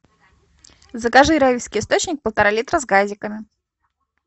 закажи райский источник полтора литра с газиками